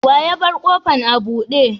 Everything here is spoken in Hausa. Wa ya bar kofan abude?